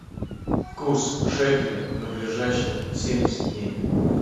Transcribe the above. курс шекеля на ближайшие семьдесят дней